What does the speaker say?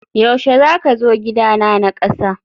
yaushe zaka zo gidana na kasa?